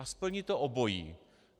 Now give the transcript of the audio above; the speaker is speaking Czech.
A splní to obojí.